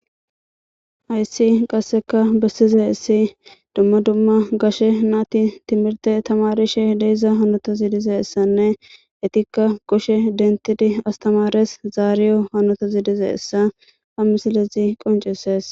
hayssi qasseka bessize haissi dumma dumma gashe naati timirte tamarishe deiza hanota ziidize essanne etikka qoshe dentidi astamares zaariyo hanota zidize essa ha misilezi qoncisees